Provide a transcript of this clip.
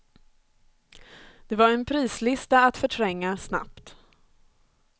Det var en prislista att förtränga snabbt.